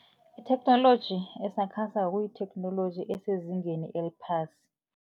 Itheknoloji esakhasako kuyitheknoloji esezingeni eliphasi.